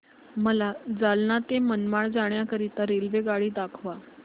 मला जालना ते मनमाड जाण्याकरीता रेल्वेगाडी दाखवा